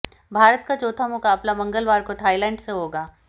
भारत का चौथा मुकाबला मंगलवार को थाईलैंड से होगा